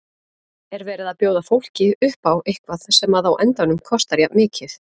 Er verið að bjóða fólki upp á eitthvað sem að á endanum kostar jafn mikið?